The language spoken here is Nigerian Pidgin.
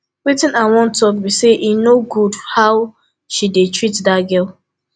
wetin i wan talk be say e no good how she dey treat that girl